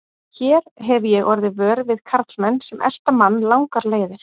Hér hefi ég orðið vör við karlmenn sem elta mann langar leiðir.